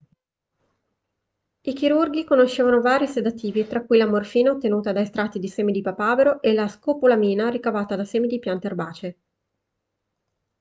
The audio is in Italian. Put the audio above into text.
i chirurghi conoscevano vari sedativi tra cui la morfina ottenuta da estratti di semi di papavero e la scopolamina ricavata da semi di piante erbacee